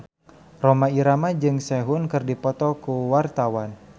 Rhoma Irama jeung Sehun keur dipoto ku wartawan